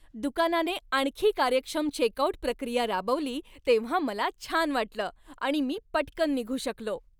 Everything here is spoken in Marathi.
दुकानाने आणखी कार्यक्षम चेकआउट प्रक्रिया राबवली तेव्हा मला छान वाटलं आणि मी पटकन निघू शकलो.